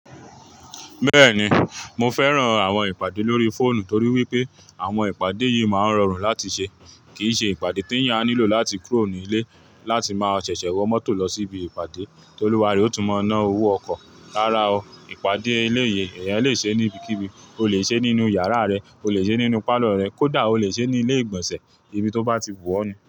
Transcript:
Bẹ́ẹ̀ni, mo fẹ́ran àwọn ìpàdé lórí fóònù torí wípé àwọn ìpàdé yìí máa ń rọrùn láti ṣe. Kìí ṣe ìpàdé tééyàn á nílò láti kúrò ní ilé láti máa ṣẹ̀ṣẹ̀ wọ mọ́tò lọ síbi ìpàdé, tólúwa rẹ̀ óó tún máa ná owó ọkọ̀. Rárá o, ìpàdé eléyìí èèyàn le ṣeé níbikíbi, o lè ṣeé nínú yàrá rẹ, o lè ṣeé nínú pálọ̀ rẹ, kódà o lè ṣeé ní ilé ìgbọ̀nsẹ̀, ibi tó bá ti wù ọ́ ni.